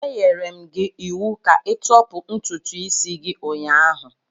Enyere m gị iwu ka ịtọpụ ntutu isi gị ụnyahụ.